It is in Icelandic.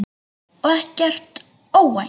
Og ekkert óvænt.